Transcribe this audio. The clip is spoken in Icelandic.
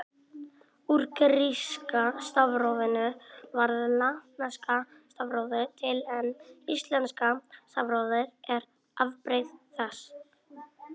Úr gríska stafrófinu varð latneska stafrófið til en íslenska stafrófið er afbrigði þess.